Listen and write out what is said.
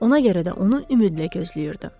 Ona görə də onu ümidlə gözləyirdi.